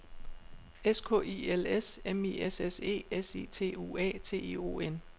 S K I L S M I S S E S I T U A T I O N